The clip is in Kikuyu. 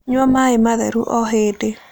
Nyua maĩ matheru o hĩndĩ